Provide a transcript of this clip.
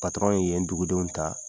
Patɔrɔn yen dugudenw ta,